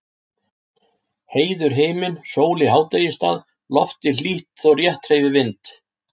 Heiður himinn, sól í hádegisstað, loftið hlýtt þó rétt hreyfi vind.